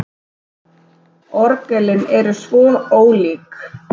Orgelin eru svo ólík.